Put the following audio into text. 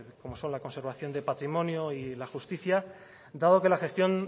como son la conservación de patrimonio y la justicia dado que la gestión